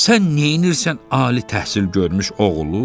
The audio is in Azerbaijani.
Sən nəyirsən ali təhsil görmüş oğulu?